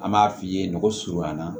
An b'a f'i ye nɔgɔ surunyan na